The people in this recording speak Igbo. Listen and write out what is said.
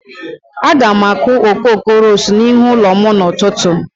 Aga m akụ okoko ros n'ihu ụlọ m n'ụtụtụ.